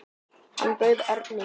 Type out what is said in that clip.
Hann bauð Erni.